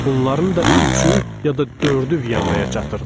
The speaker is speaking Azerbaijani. Bunların da üçü, ya da dördü Vyanaya çatırdı.